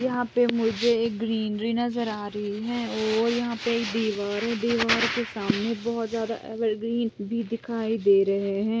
मुझे एक ग्रीनरी नजर आ रही है और यहाँ पे एक दीवार है दीवार के सामने बहोत ज्यादा एवरग्रीन भी दिखाई दे रही है